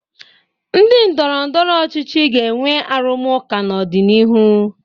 Ndị ndọrọndọrọ ọchịchị ga-enwe arụmụka n'ọdịnihu.